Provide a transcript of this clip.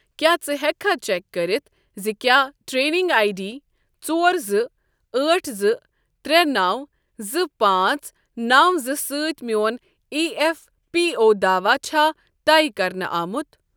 کیٛاہ ژٕ ہیٚککھا چیک کٔرتھ زِ کیٛاہ ٹریکنگ آٮٔۍ ڈی ژور زٕ أٹھ زٕ ترٛے نَو زٕ پانٛژ نَو زٕ سۭتۍ میٚون ایی ایف پی او داواہ چھا طے کَرنہٕ آمُت؟